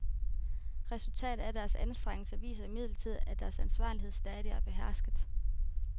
Resultatet af deres anstrengelser viser imidlertid, at deres ansvarlighed stadig er behersket.